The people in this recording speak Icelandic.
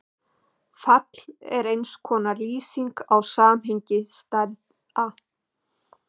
Fall er eins konar lýsing á samhengi stærða.